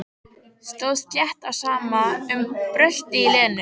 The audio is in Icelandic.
Stóð slétt á sama um bröltið í Lenu.